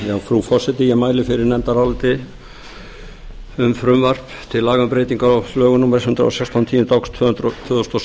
frú forseti ég mæli fyrir nefndaráliti um frumvarp til laga um breyting á lögum númer hundrað og sextán tíunda okt tvö þúsund og